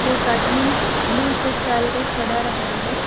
एक आदमी blue shirt डालके खड़ा रहा है।